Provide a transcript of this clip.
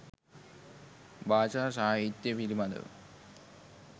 භාෂා සාහිත්‍ය පිළිබඳව